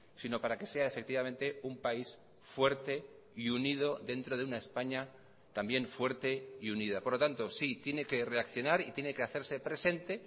sino para que sea efectivamente un país fuerte y unido dentro de una españa también fuerte y unida por lo tanto sí tiene que reaccionar y tiene que hacerse presente